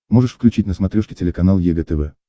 можешь включить на смотрешке телеканал егэ тв